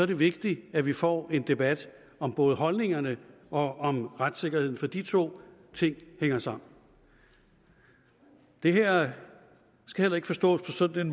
det vigtigt at vi får en debat om både holdningerne og om retssikkerheden for de to ting hænger sammen det her skal heller ikke forstås på sådan